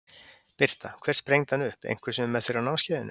Birta: Hver sprengdi hann upp, einhver sem er með þér á námskeiðinu?